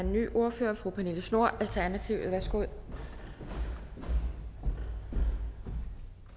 ny ordfører fru pernille schnoor alternativet værsgo